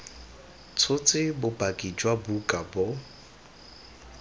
tshotse bopaki jwa buka bo